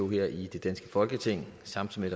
her i det danske folketing samtidig